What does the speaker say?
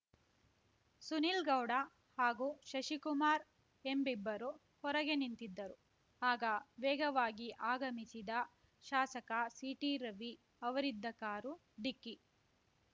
ಸುನಿಲ್‌ಗೌಡ ಹಾಗೂ ಶಶಿಕುಮಾರ್ ಎಂಬಿಬ್ಬರು ಹೊರಗೆ ನಿಂತಿದ್ದರು ಆಗ ವೇಗವಾಗಿ ಆಗಮಿಸಿದ ಶಾಸಕ ಸಿಟಿರವಿ ಅವರಿದ್ದ ಕಾರು ಡಿಕ್ಕಿ